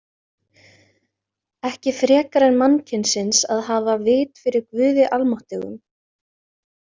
Ekki frekar en mannkynsins að hafa vit fyrir Guði almáttugum.